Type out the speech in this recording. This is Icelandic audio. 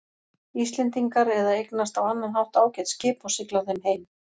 Íslendingar eða eignast á annan hátt ágæt skip og sigla þeim heim.